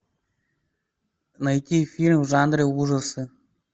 найти фильм в жанре ужасы